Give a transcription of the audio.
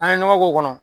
An ye ɲɔgɔn k'o kɔnɔ